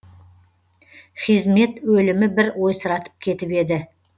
хизмет өлімі бір ойсыратып кетіп еді